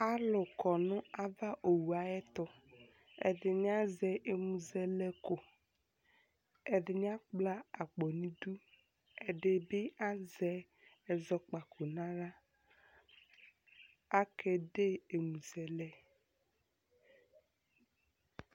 Alʋ kɔ nʋ avaowu ayɛtʋ Ɛdɩnɩ azɛ ɛmʋzɛlɛko Ɛdɩnɩ akpla akpo nʋ idu Ɛdɩ bɩ azɛ ɛzɔkpako nʋ aɣla kʋ akede ɛmʋzɛlɛ